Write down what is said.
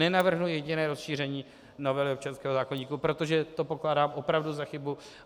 Nenavrhnu jediné rozšíření novely občanského zákoníku, protože to pokládám opravdu za chybu.